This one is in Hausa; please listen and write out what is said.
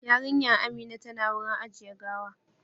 Yarinyan Amina tana wurin ajiye gawa